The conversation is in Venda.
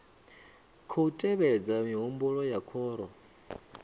khou tevhedza mihumbulo ya khoro